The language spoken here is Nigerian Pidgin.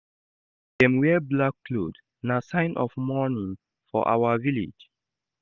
Dem wear black cloth, na sign of mourning for our village.